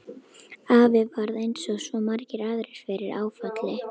Afi varð eins og svo margir aðrir fyrir áfalli.